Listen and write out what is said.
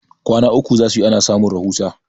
kwana uku za su yi ana samun rahusa